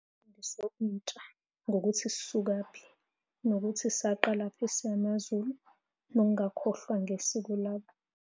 Intsha ngokuthi sisukaphi, nokuthi saqala kuphi singamaZulu, nokungakhohlwa ngesiko labo.